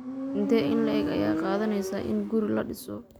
Intee in le'eg ayay qaadanaysaa in guri la dhiso?